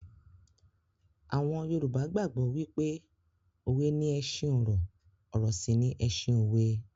Àwọn Yorùbá gbàgbó wípé òwe ni ẹṣin ọ̀rọ̀, ọ̀rọ̀ sì ni ẹṣin òwe.